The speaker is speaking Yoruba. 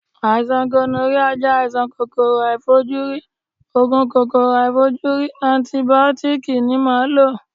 Àìsàn gonoríà jẹ́ àìsàn kòkòrò aàìfojúrí, Ògùn kòkòrò aàìfojúrí antìbìótíkì ni màá lò.